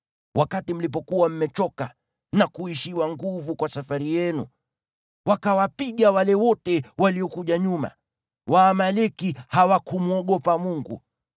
Wakati mlipokuwa mmechoka na kuishiwa nguvu kwa safari yenu, wakawapiga wale wote waliokuja nyuma. Waamaleki hawakumwogopa Mungu.